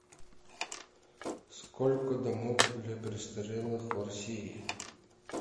сколько домов для престарелых в россии